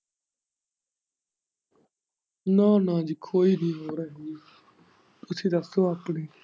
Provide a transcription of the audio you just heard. ਨਾ ਨਾ ਜੀ ਕੋਈ ਨੀ ਲੋੜ ਹੈਗੀ ਰੱਖੋ ਆਪਣੇ।